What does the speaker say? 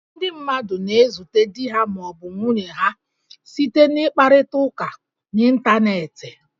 Ndị mmadụ na-ezute di ha ma ọ bụ nwunye ha site n' ịkparịta ụka n'Ịntaneetị